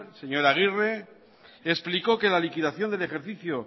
señor aguirre explicó que la liquidación del ejercicio